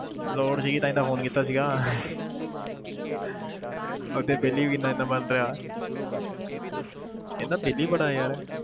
ਲੋੜ ਸੀਗੀ ਤਾਂ ਹੀ ਤਾਂ phone ਕੀਤਾ ਸੀਗਾ ਇੱਥੇ ਬਿੱਲ ਹੀ ਇੰਨਾ ਇੰਨਾ ਬਣ ਰਿਹਾ ਇੰਨਾ ਬਿੱਲ ਹੀ ਬੜਾ ਯਾਰ